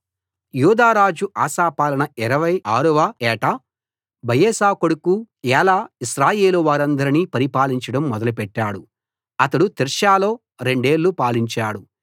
యూదారాజు Asa పాలన 26 వ ఏట బయెషా కొడుకు ఏలా ఇశ్రాయేలు వారందరినీ పరిపాలించడం మొదలుపెట్టాడు అతడు తిర్సాలో రెండేళ్ళు పాలించాడు